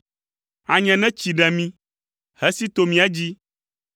anye ne tsi ɖe mí hesi to mía dzi,